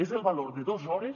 és el valor de dos hores